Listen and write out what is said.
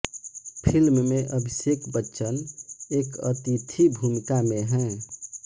film में अभिषेक बच्चन एक अतिथि भूमिका में है